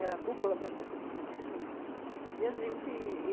a dupla, né, a sessão de cinema. E a gente